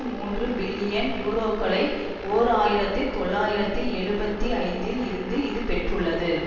மூன்று பில்லியன் யூரோக்களை ஓர் ஆயிரத்தி தொள்ளாயிரத்தி எழுபத்தி ஐந்தில் இருந்து இது பெற்றுள்ளது